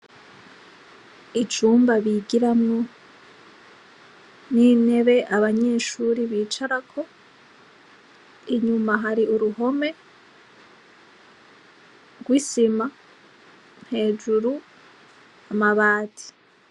Icumba bigiramwo n' intebe abanyeshuri bicarako, inyuma hari uruhome rw' isima, hejuru amabati.